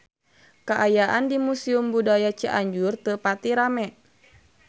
Kaayaan di Museum Budaya Cianjur teu pati rame